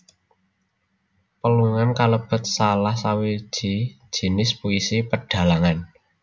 Pelungan kalebet salah sawiji jinis puisi pedhalangan